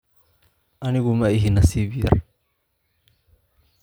Anigu ma ihi nasiib yar.